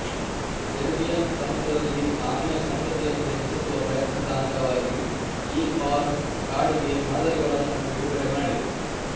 Caribbean ಸಮುದ್ರದಲ್ಲಿ ಆಮೆಯ ಸಂತತಿಯನ್ನು ಹೆಚ್ಚಿಸುವ ಪ್ರಯತ್ನದ ಅಂಗವಾಗಿ ಈ ಫಾರ್ಮ್ ಕಾಡಿಗೆ ಮಾದರಿಗಳನ್ನು ಬಿಡುಗಡೆ ಮಾಡಿದೆ